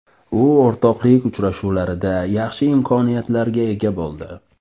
U o‘rtoqlik uchrashuvlarida yaxshi imkoniyatlarga ega bo‘ldi.